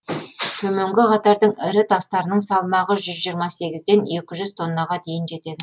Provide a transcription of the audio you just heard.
төменгі қатардың ірі тастарының салмағы жүз жиырма сегізден екі жүз тоннаға дейін жетеді